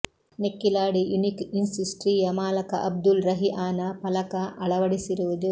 Nekkilady unique industry ಯ ಮಾಲಕ ಅಬ್ದುಲ್ ರಹಿಆನ ಫಲಕ ಅಳವಡಿಸಿರುವುದು